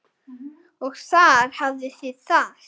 Og þar hafið þið það!